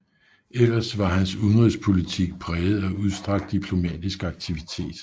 Ellers var hans udenrigspolitik præget af udstrakt diplomatisk aktivitet